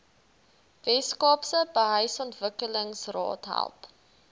weskaapse behuisingsontwikkelingsraad help